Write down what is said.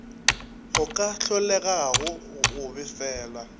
go ka hlolegago go befelwa